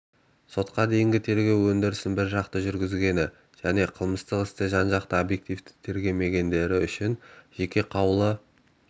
сотқа дейінгі тергеу өндірісін біржақты жүргізгені және қылмыстық істі жан-жақты обьективті тергемегендері үшін жеке қаулы